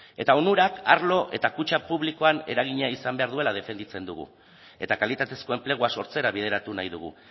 eta onurak arlo eta kutxa publikoan eragina izan behar duela defendatzen dugu eta kalitatezko enplegua sortzera bideratu nahi dugu